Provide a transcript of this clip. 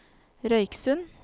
Røyksund